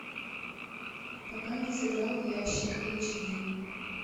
пока не сыграл в ящик эйч ди